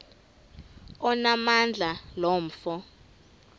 onamandla lo mfo